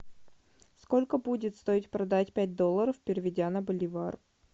сколько будет стоить продать пять долларов переведя на боливар